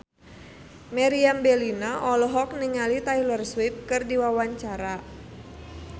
Meriam Bellina olohok ningali Taylor Swift keur diwawancara